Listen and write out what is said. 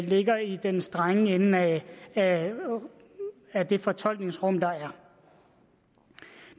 ligger i den strenge ende af af det fortolkningsrum der er